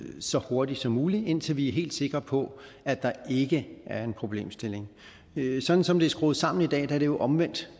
så hurtigt som muligt indtil vi er helt sikre på at der ikke er en problemstilling sådan som det er skruet sammen i dag er det jo omvendt